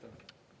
Aitäh!